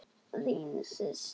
Þín systir, Hildur.